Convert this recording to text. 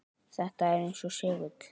Þetta er eins og segull.